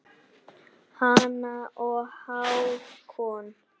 Hanna og Hákon.